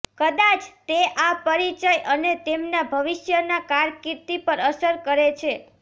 કદાચ તે આ પરિચય અને તેમના ભવિષ્યના કારકિર્દી પર અસર કરે છે